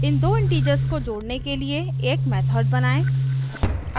इन दो integers को जोड़ने के लिए एक method बनाएँ